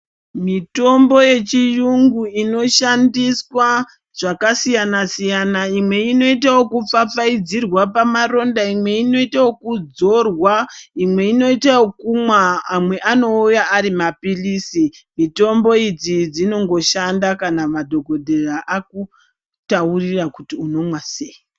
Mitombo yechiyungu inoshandiswa zvakasiyana siyana. Imwe inoita wokupfapfaidzirwa pamaronda, imwe inoita wokudzorwa, imwe inoita wokumwa, amwe anouya ari maphilizi. Mitombo idzi dzinongoshanda kana madhokodheya akutaurira kuti unomwa sei.